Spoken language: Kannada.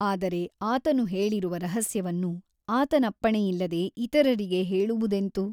ಆದರೆ ಆತನು ಹೇಳಿರುವ ರಹಸ್ಯವನ್ನು ಆತನಪ್ಪಣೆಯಿಲ್ಲದೆ ಇತರರಿಗೆ ಹೇಳುವುದೆಂತು?